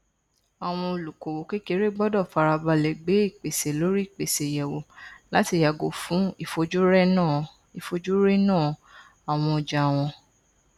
àwọn olókoòwò kéékèèké gbọdọ farabalẹ gbé ìpèsè lóríìpèsè yẹwò láti yàgò fún ìfojúrénà àwọn ọjà wọn